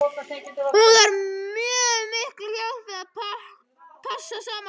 Hún þarf mjög mikla hjálp við að passa krakkana.